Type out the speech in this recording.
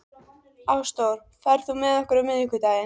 Ásdór, ferð þú með okkur á miðvikudaginn?